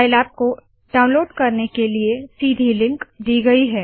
Scilab को download करने के लिए सीधी लिंक दी गयी है